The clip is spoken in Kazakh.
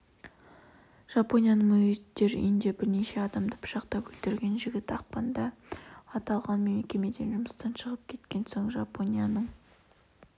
жапонияның мүгедектер үйінде бірнеше адамды пышақтап өлтірген жігіт ақпанда аталған мекемеден жұмыстан шығып кеткен соң жапонияның